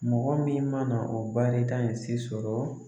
Mɔgɔ min mana o baarita in se sɔrɔ